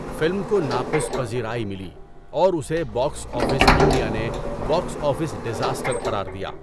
Film کو ناقص پذیرائی ملی اور اسے باکس آفس انڈیا نے باکس آفس ڈیزاسٹر قرار دیا۔